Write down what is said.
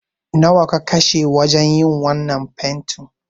Nawa ka kashe wajen yin wannan fentin?